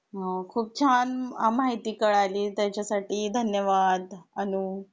हां खूप छान माहिती कळाली त्याच्या साठी धन्यवाद अनु